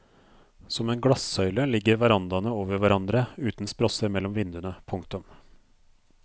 Som en glassøyle ligger verandaene over hverandre uten sprosser mellom vinduene. punktum